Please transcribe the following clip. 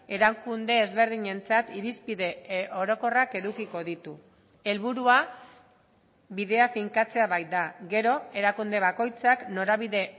erakunde ezberdinentzat irizpide orokorrak edukiko ditu helburua bidea finkatzea baita gero erakunde bakoitzak norabide